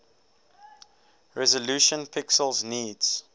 resolution pixels needs